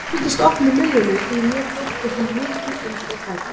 Ég fylgdist oft með myllunni því að mér þótti hún mikið undratæki.